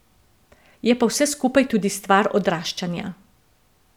Je pa vse skupaj tudi stvar odraščanja.